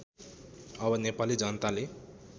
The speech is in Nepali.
अब नेपाली जनताले